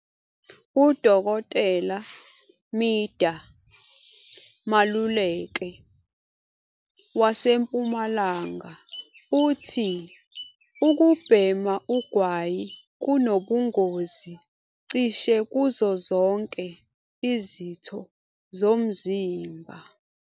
"UDkt Midah Maluleke waseMpumalanga uthi ukubhema ugwayi kunobungozi cishe kuzo zonke izitho zomzimba.